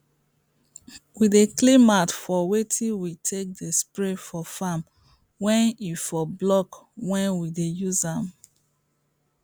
we dey clean the mouth of wetin we take dey spray for farm may e for block when we dey use am